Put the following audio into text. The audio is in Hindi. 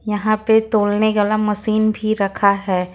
यहां पे तौलने वाला मशीन भी रखा है।